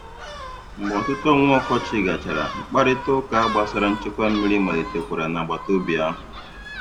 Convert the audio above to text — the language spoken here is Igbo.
Mgbe ọtụtụ ọnwa ọkọchị gachara, mkparịtaụka gbasara nchekwa mmiri malitekwara n'agbataobi ahụ.